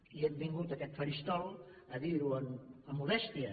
i hem vingut a aquest faristol a dir ho amb modèstia